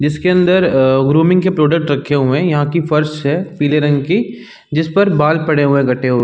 जिसके अंदर ग्रूमिंग के प्रोडक्ट रखे हुए है यहाँ की फर्श है पिले रंग की जिस पर बाल पड़े हुए है कटे हुए--